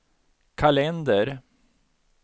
kalender